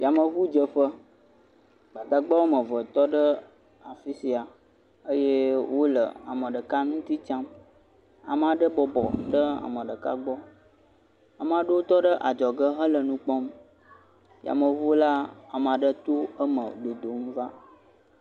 Yameʋu dzeƒe. Gbadagba geɖe tɔ ɖe afisia eye wole ame ɖeka nuguie tsam. Ame aɖe bɔbɔ ɖe ame ɖeka gbɔ. Ame aɖewo tɔ ɖe adzɔge hele nu kpɔm. Yameʋu la, ame aɖe tɔ eme dodom va.